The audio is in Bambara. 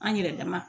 An yɛrɛ dama